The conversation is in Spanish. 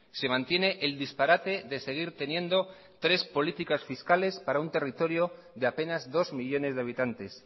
se mantiene el disparate de seguir teniendo tres políticas fiscales para un territorio de apenas dos millónes de habitantes